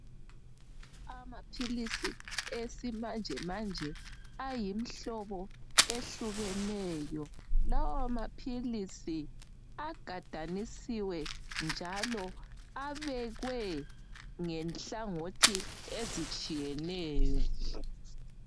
Amaphilisi esimanjemanje ayimhlino ehlukeneyo lawo maphilisi agadanisiwe njalo abekwe ngenhlangothi ezitshiyeneyo.